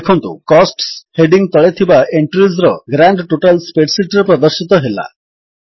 ଦେଖନ୍ତୁ costs heading ତଳେ ଥିବା ଏଣ୍ଟ୍ରିଜ୍ ର ଗ୍ରାଣ୍ଡ ଟୋଟାଲ ସ୍ପ୍ରେଡ୍ ଶୀଟ୍ ରେ ପ୍ରଦର୍ଶିତ ହେଲା